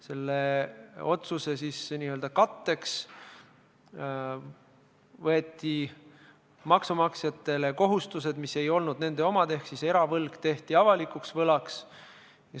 Selle otsuse katteks võeti maksumaksjatele kohustused, mis ei olnud nende omad, ehk eravõlg tehti avalikuks võlaks.